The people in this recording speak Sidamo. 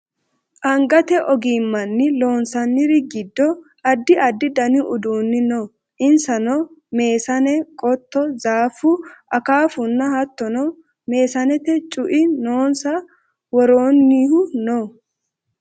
angate ogimmanni loonsanniri giddo addi addi dani uduunni no insano meesane qotto zaaffu akaafunna hattono meesante cu"i loonse worroonnihu no